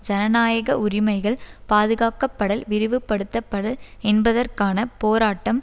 ஜனநாயக உரிமைகள் பாதுகாக்கப்படல் விரிவுபடுத்தப்படல் என்பதற்கான போராட்டம்